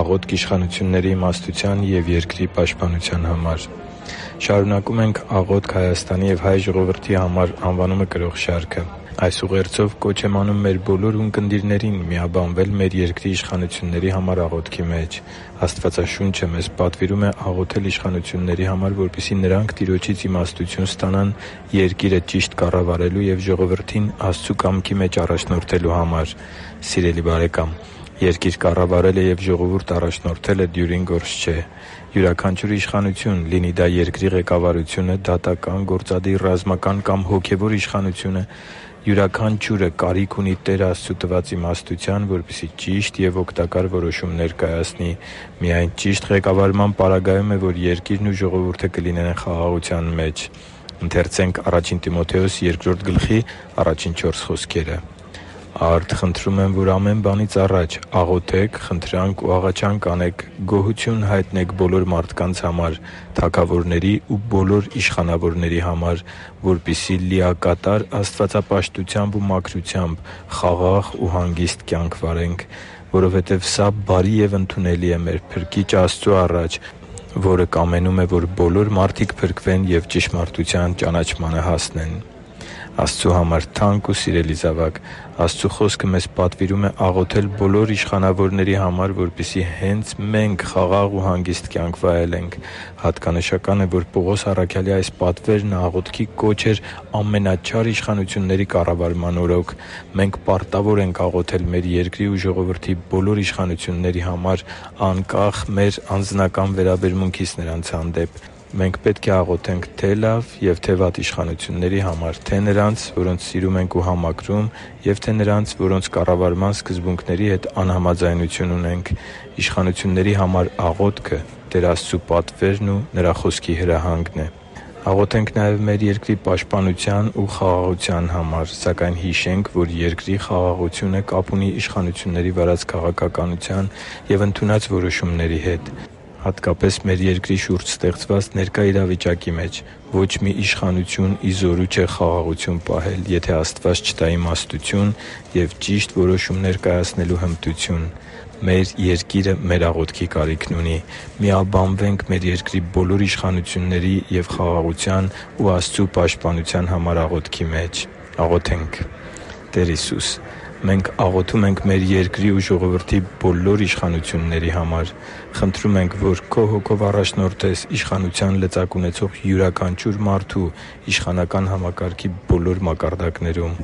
Աղոթք իշխանությունների իմաստության և երկրի պաշտպանության համար Շարունակում ենք «Աղոթք Հայաստանի և հայ ժողովրդի համար» անվանումը կրող շարքը։ Այս ուղերձով կոչ եմ անում մեր բոլոր ունկնդիրներին միաբանվել մեր երկրի իշխանությունների համար աղոթքի մեջ։ Աստվածաշունչը մեզ պատվիրում է աղոթել իշխանությունների համար, որպեսզի նրանք Տիրոջից իմաստություն ստանան երկիրը ճիշտ կառավարելու և ժողովրդին Աստծու կամքի մեջ առաջնորդելու համար։ Սիրելի՛ բարեկամ, երկիր կառավարելը և ժողովուրդ առաջնորդելը դյուրին գործ չէ։ Յուրաքանչյուր իշխանություն՝ լինի դա երկրի ղեկավարությունը, դատական, գործադիր, ռազմական կամ հոգևոր իշխանություն, յուրաքանչյուրը կարիք ունի Տեր Աստծու տված իմաստության, որպեսզի ճիշտ ու օգտակար որոշումներ կայացնի։ Միայն ճիշտ ղեկավարման պարագայում է, որ երկիրն ու ժողովուրդը կլինեն խաղաղության մեջ։ «Արդ, խնդրում եմ, որ ամեն բանից առաջ աղոթեք, խնդրանք ու աղաչանք անեք, գոհություն հայտնեք բոլոր մարդկանց համար, թագավորների ու բոլոր իշխանավորների համար, որպեսզի լիակատար աստվածապաշտությամբ ու մաքրությամբ խաղաղ ու հանգիստ կյանք վարենք, որովհետև սա բարի և ընդունելի է մեր Փրկիչ Աստծու առաջ, որը կամենում է, որ բոլոր մարդիկ փրկվեն և ճշմարտության ճանաչմանը հասնեն»(Ա Տիմոթեոս 2.1-4 ՆՎԱԱ): Աստծու համար թանկ ու սիրելի՛ զավակ, Աստծու Խոսքը մեզ պատվիրում է աղոթել բոլոր իշխանավորների համար, որպեսզի հենց մե՛նք խաղաղ ու հանգիստ կյանք վայելենք։ Հատկանշական է, որ Պողոս առաքյալի այս պատվերն աղոթքի կոչ էր ամենաչար իշխանությունների կառավարման օրոք։ Մենք պարտավոր ենք աղոթել մեր երկրի ու ժողովրդի բոլոր իշխանությունների համար՝ անկախ մեր անձնական վերաբերմունքից նրանց հանդեպ։ Մենք պետք է աղոթենք թե՛ լավ և թե՛ վատ իշխանությունների համար՝ թե՛ նրանց, որոնց սիրում ենք ու համակրում, և թե՛ նրանց, որոնց կառավարման սկզբունքների հետ անհամաձայնություն ունենք։ Իշխանությունների համար աղոթքը Տեր Աստծու պատվերն ու Նրա Խոսքի հրահանգն է։ Աղոթենք նաև մեր երկրի պաշտպանության ու խաղաղության համար։ Սակայն հիշենք, որ երկրի խաղաղությունը կապ ունի իշխանությունների վարած քաղաքականության և ընդունած որոշումների հետ։ Հատկապես մեր երկրի շուրջ ստեղծված ներկա իրավիճակի մեջ ո՛չ մի իշխանություն ի զորու չէ խաղաղություն պահել, եթե Աստված չտա իմաստություն և ճիշտ որոշումներ կայացնելու հմտություն։ Մեր երկիրը մեր աղոթքի կարիքն ունի։ Միաբանվե՛նք մեր երկրի բոլոր իշխանությունների և խաղաղության ու Աստծու պաշտպանության համար աղոթքի մեջ։ «Տեր Հիսո՛ւս, մենք աղոթում ենք մեր երկրի ու ժողովրդի բոլոր իշխանությունների համար։ Խնդրում ենք, որ Քո Հոգով առաջնորդես իշխանության լծակ ունեցող յուրաքանչյուր մարդու իշխանական համակարգի բոլոր մակարդակներում։